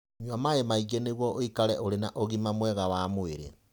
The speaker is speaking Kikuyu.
Nyua maaĩ maingĩ nĩguo ũikare ũrĩ na ũgima mwega wa mwĩrĩ.